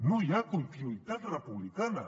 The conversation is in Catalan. no hi ha continuïtat republicana